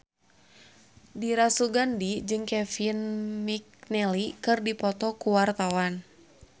Dira Sugandi jeung Kevin McNally keur dipoto ku wartawan